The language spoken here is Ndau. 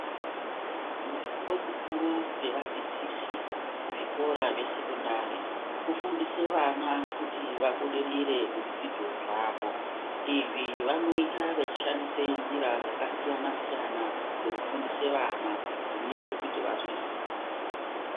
Mushando mukuru wevadzidzisi kuzvikora zvesekondari kufundise vana kuti vabudirire muzvidzidzo zvavo, izvi vanoita vechishandisa nzira dzakasiyana siyana dzekufundise vana dzinote kuti vazwisise.